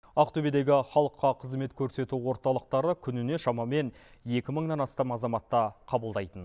ақтөбедегі халыққа қызмет көрсету орталықтары күніне шамамен екі мыңнан астам азаматты қабылдайтын